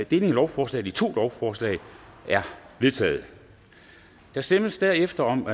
deling af lovforslaget i to lovforslag er vedtaget der stemmes derefter om